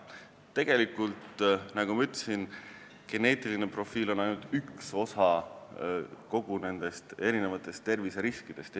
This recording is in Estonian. Tegelikult, nagu ma ütlesin, geneetiline profiil on ainult üks osa kõigist terviseriskidest.